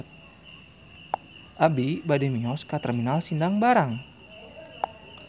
Abi bade mios ka Terminal Sindang Barang